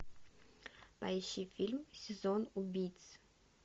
поищи фильм сезон убийц